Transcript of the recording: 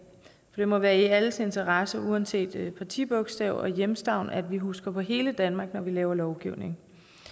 det må være i alles interesse uanset partibogstav og hjemstavn at vi husker på hele danmark når vi laver lovgivning